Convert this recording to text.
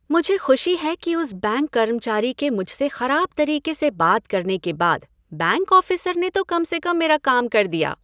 मुझे खुशी है कि उस बैंक कर्मचारी के मुझसे खराब तरीके से बात करने के बाद, बैंक ऑफ़िसर ने तो कम से कम मेरा काम कर दिया।